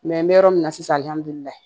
n bɛ yɔrɔ min na sisan alihamudulilayi